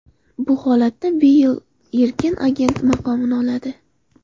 Bu holatda Beyl erkin agent maqomini oladi.